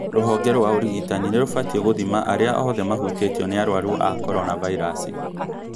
Rũhonge rwa ũrigitani nĩ rũbatiĩgũthima arĩa othe mahũtĩtio nĩ arwaru a korona vairasi